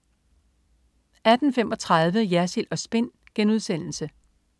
18.35 Jersild & Spin*